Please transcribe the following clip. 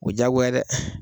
O diagoya dɛ.